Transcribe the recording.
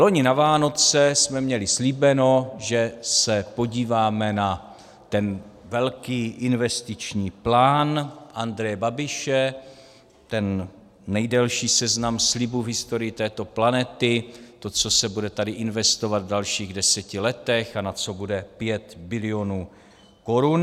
Loni na Vánoce jsme měli slíbeno, že se podíváme na ten velký investiční plán Andreje Babiše, ten nejdelší seznam slibů v historii této planety, to, co se bude tady investovat v dalších deseti letech a na co bude 5 bilionů korun.